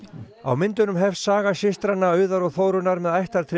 á myndunum hefst saga systranna Auðar og Þórunnar með